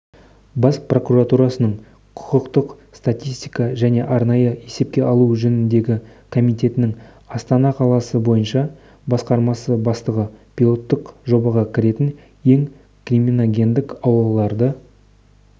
бас прокуратурасының құқықтық статистика және арнайы есепке алу жөніндегі комитетінің астана қаласы бойынша басқармасы бастығы пилоттық жобаға кіретін ең криминогендік аулаларды